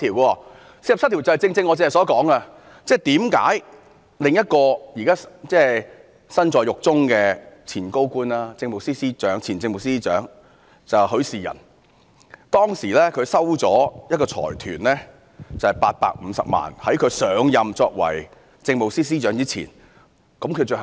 第四十七條正正是我剛才所說，為何另一個現時身在獄中的前高官——前政務司司長許仕仁，他在上任政務司司長前收取了一個財團的850萬元，最後被裁定有罪呢？